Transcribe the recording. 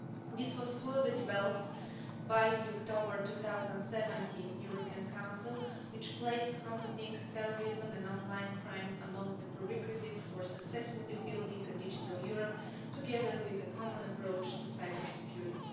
This was further developed by the October 2017 European Council, which placed combating terrorism and online crime among the prerequisites for successfully building a digital Europe together with a common approach to cybersecurity.